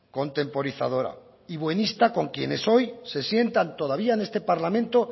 contemporizadora y buenista con quienes hoy se sientan todavía en este parlamento